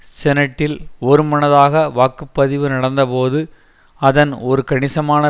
செனட்டில் ஒருமனதாக வாக்கு பதிவு நடந்தபோது அதன் ஒரு கணிசமான